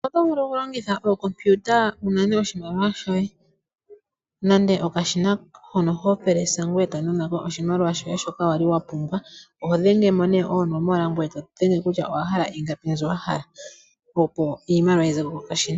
Oto vulu okulongitha oCompiuta wu nane oshimaliwa shoye nenge okashina hono ho thindi ngweye to nanako oshimaliwa shoye shoka wa li wa pumbwa. Oho dhengele mo nduno oonomola ngweye to dhenge kutya owa hala ingapi mbyono wa hala opo iimaliwa yi ze ko kokashina.